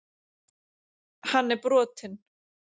Hann er brotinn.